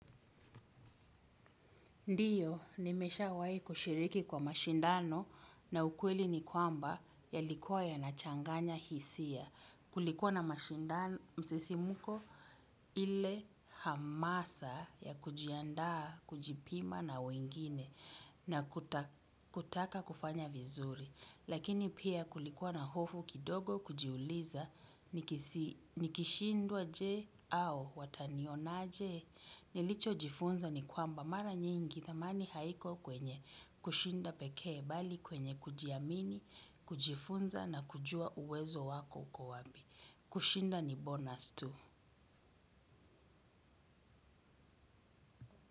Ndiyo, nimesha wahi kushiriki kwa mashindano na ukweli ni kwamba yalikuwa yanachanganya hisia. Kulikuwa na mashindano msisimko ile hamasa ya kujiandaa kujipima na wengine na kutaka kufanya vizuri. Lakini pia kulikuwa na hofu kidogo kujiuliza nikishindwa je au wataniona je. Nilicho jifunza ni kwamba mara nyingi thamani haiko kwenye kushinda pekee bali kwenye kujiamini, kujifunza na kujua uwezo wako uko wapi. Kushinda ni bonus tu.